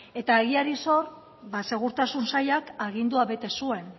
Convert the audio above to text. eta egiari zor ba segurtasun sailak agindua bete zuen